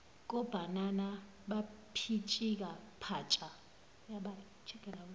kobhanana bapitshika patsha